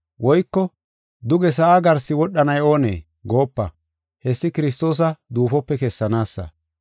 Woyko, ‘Duge sa7a garsi wodhanay oonee?’ goopa; hessi Kiristoosa duufope kessanaasa.